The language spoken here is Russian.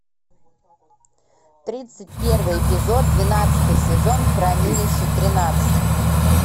тридцать первый эпизод двенадцатый сезон хранилище тринадцать